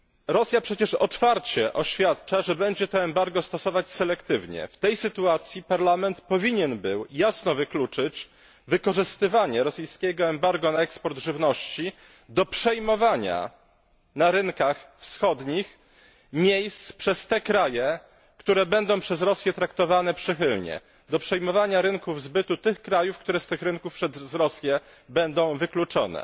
Rosja przecież otwarcie oświadcza, że będzie to embargo stosować selektywnie. W tej sytuacji Parlament powinien był jasno wykluczyć wykorzystywanie rosyjskiego embarga na eksport żywności do przejmowania na rynkach wschodnich miejsc przez te kraje, które będą przez Rosję traktowane przychylnie, do przejmowania rynków zbytu tych krajów, które z tych rynków przez Rosję będą wykluczone.